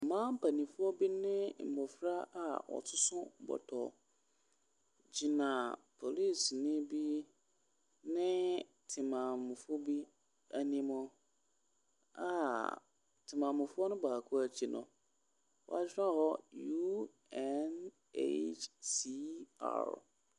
Mmaa mpanimfoɔ bi ne mmɔfra a wɔsoso bɔtɔ gyina polisini bi ne temammufoɔ bi anim a temammufoɔ no baako akyi no, wɔatwerɛ hɔ UNACR.